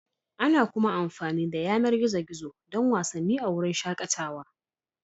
Ana kuma amfani da yanar gizo-gizo don wasanni a wurin shakatawa.